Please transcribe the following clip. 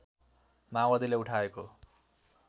माओवादीले उठाएको